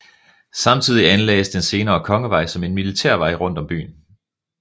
Samtidig anlagdes den senere Kongevej som en militærvej rundt om byen